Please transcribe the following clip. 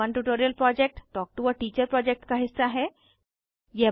spoken tutorial project talk to a teacher project का हिस्सा है